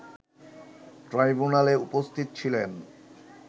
ট্রাইব্যুনালে উপস্থিত ছিলেন